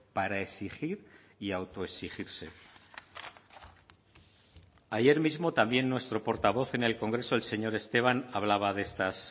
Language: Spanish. para exigir y autoexigirse ayer mismo también nuestro portavoz en el congreso el señor esteban hablaba de estas